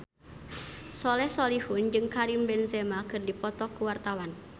Soleh Solihun jeung Karim Benzema keur dipoto ku wartawan